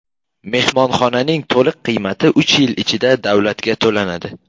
Mehmonxonaning to‘liq qiymati uch yil ichida davlatga to‘lanadi.